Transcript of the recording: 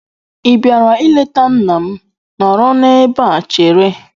Ị bịara ịleta nna m? Nọrọ n'ebe chere!